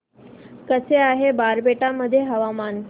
कसे आहे बारपेटा मध्ये हवामान